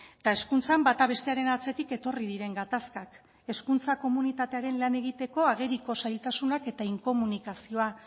eta hezkuntzan bata bestearen atzetik etorri diren gatazkak hezkuntza komunitatearen lan egiteko ageriko zailtasunak eta inkomunikazioa